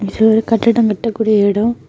இது ஒரு கட்டிடம் கட்ட கூடிய இடம்.